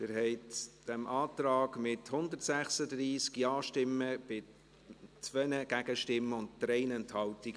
Sie haben diesem Antrag zugestimmt, mit 136 Ja-Stimmen bei 2 Gegenstimmen und 3 Enthaltungen.